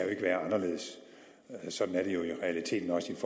ikke være anderledes og sådan er det jo jo